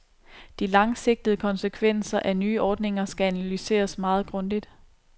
De langsigtede konsekvenser af nye ordninger skal analyseres meget grundigt.